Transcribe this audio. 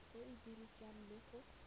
e e dirwang le go